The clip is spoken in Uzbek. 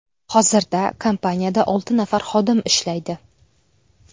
Hozirda kompaniyada olti nafar xodim ishlaydi.